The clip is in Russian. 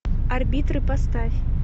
арбитры поставь